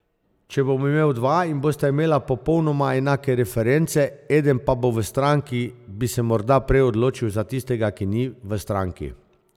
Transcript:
Če bom imel dva in bosta imela popolnoma enake reference, eden pa bo v stranki, bi se morda prej odločil za tistega, ki ni v stranki.